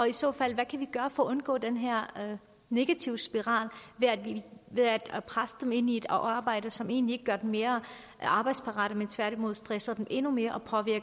i så fald gøre for at undgå den her negative spiral ved at presse dem ind i et arbejde som egentlig ikke gør dem mere arbejdsparate men tværtimod stresser dem endnu mere